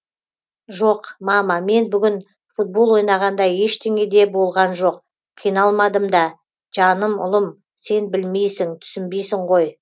жоқ мама мен бүгін футбол ойнағанда ештеңе де болған жоқ қиналмадым да жаным ұлым сен білмейсің түсінбейсің ғой